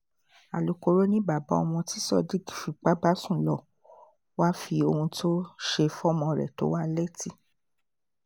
alūkkóró ni bàbá ọmọ tí sadiq fipá bá sùn lọ wàá fi ohun tó ṣe fọ́mọ rẹ̀ tó wa létí